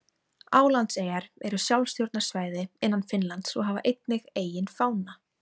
Álandseyjar eru sjálfstjórnarsvæði innan Finnlands og hafa einnig eigin fána.